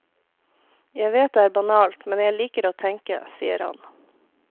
Jeg vet det er banalt, men jeg liker å tenke, sier han.